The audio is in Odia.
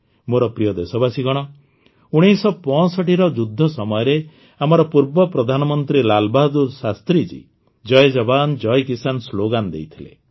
ମୋର ପ୍ରିୟ ଦେଶବାସୀଗଣ ୧୯୬୫ର ଯୁଦ୍ଧ ସମୟରେ ଆମର ପୂର୍ବ ପ୍ରଧାନମନ୍ତ୍ରୀ ଲାଲ ବାହାଦୂର ଶାସ୍ତ୍ରୀଜୀ ଜୟ ଜବାନ ଜୟ କିଷାନ ସ୍ଲୋଗାନ ଦେଇଥିଲେ